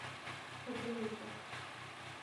содомиты